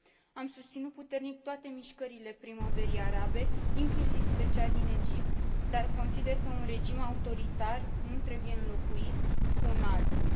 Am susținut puternic toate mișcările Primăverii Arabe, inclusiv pe cea din Egipt, dar consider că un regim autoritar nu trebuie înlocuit cu un altul.